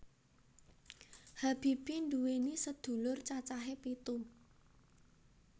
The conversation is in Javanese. Habibie nduwèni sedulur cacahe pitu